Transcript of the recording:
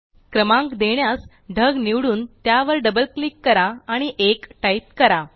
क्रमांक देण्यास ढग निवडून त्यावर डबल क्लिक करा आणि 1 टाईप करा